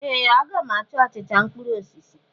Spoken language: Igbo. A ga m achọ achịcha mkpụrụ osisi.